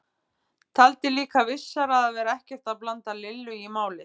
Taldi líka vissara að vera ekkert að blanda Lillu í málið.